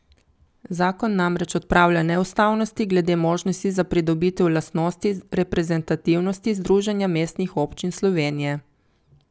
Zakon namreč odpravlja neustavnosti glede možnosti za pridobitev lastnosti reprezentativnosti Združenja mestnih občin Slovenije.